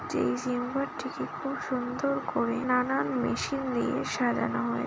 যেই জিম ঘরটিকে খুব সুন্দর করে নানান মেশিন দিয়ে সাজানো হয়--